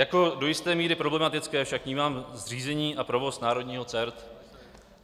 Jako do jisté míry problematické však vnímám zřízení a provoz národního CERT.